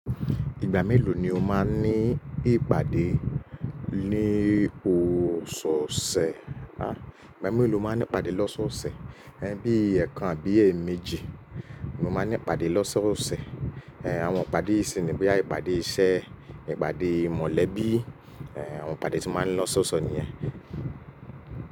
Ìgbà mélòó ni o máa ń ní ìpàdé ní o ṣọ ṣẹ, à, ìgbà mélòó lo máa ń ní ìpàdé lọ́sọ́ọ̀sẹ̀, ẹ́ bí èèkàn àbí èemejì ni mo máa ń ní ìpàdé lọ́sọ́ọ̀sẹ̀. Àwọn ìpàdé yìí sì ni boya ìpàdé isẹ́, ìpàdé mọ̀lẹ́bí, àwọn ìpàdé tí a máa ń ni lọ sọ́sọ̀ ni yẹn.